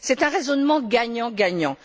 C'est un raisonnement gagnant gagnant.